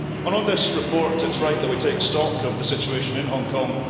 On this report, it is right that we take stock of the situation in Hong Kong.